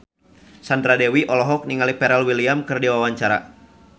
Sandra Dewi olohok ningali Pharrell Williams keur diwawancara